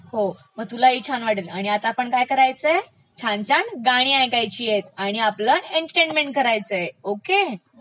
हो मग तुला ही छान वाटेल, आता आपणं काय करायचयस छान छान गाणी ऐकायचीयत आणि आपलं एंटरटेनमेंट करायचय...ओके?